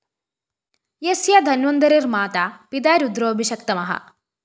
യസ്യ ധന്വന്തരിര്‍ മാതാ പിതാ രുദ്രോ ഭിഷക്തമഃ